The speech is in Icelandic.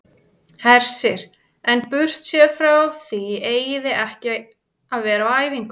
Hersir: En burtséð frá því eigið þið ekki að vera á æfingu?